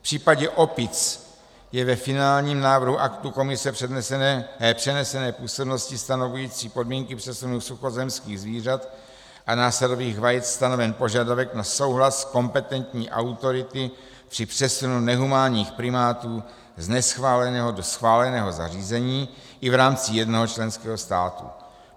V případě opic je ve finálním návrhu aktu Komise přenesené působnosti stanovující podmínky přesunu suchozemských zvířat a násadových vajec stanoven požadavek na souhlas kompetentní autority při přesunu nehumánních primátů z neschváleného do schváleného zařízení i v rámci jednoho členského státu.